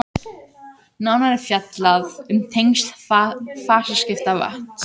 nánar er fjallað um tengsl fasaskipta vatns